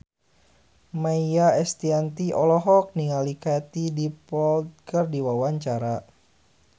Maia Estianty olohok ningali Katie Dippold keur diwawancara